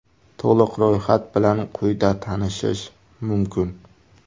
To‘liq ro‘yxat bilan quyida tanishish mumkin.